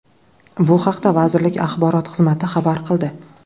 Bu haqda vazirlik axborot xizmati xabar qildi .